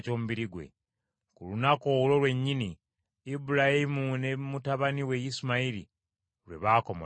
Ku lunaku olwo lwennyini Ibulayimu ne mutabani we Isimayiri lwe baakomolebwa.